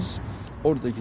borgin